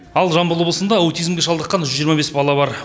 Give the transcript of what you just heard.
ал жамбыл облысында аутизмге шалдыққан жүз жиырма бес бала бар